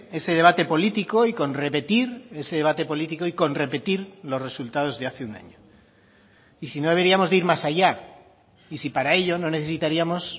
ese debate político y con repetir ese debate político y con repetir los resultados de hace un año y si no deberíamos de ir más allá y si para ello no necesitaríamos